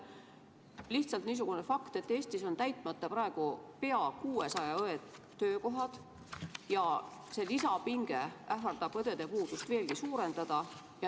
Lihtsalt niisugune fakt, et Eestis on täitmata praegu peaaegu 600 õe töökohta ja see lisapinge ähvardab õdede puudust veelgi suurendada.